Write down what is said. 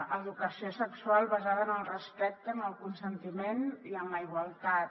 educació sexual basada en el respecte en el consentiment i en la igualtat